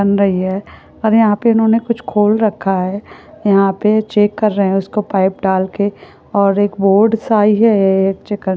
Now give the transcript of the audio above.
One रहि हे। और यहां पर उन्होंने कुछ खोल रखा है। यहां पे चेक कर रहे हैं उसको पाइप डालके और एक बोर्ड से आइ है-ए एक चेकार ।